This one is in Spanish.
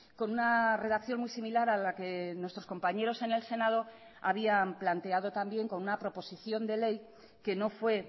con una redacción muy similar a la que nuestros compañeros en el senado habían planteado también con una proposición de ley que no fue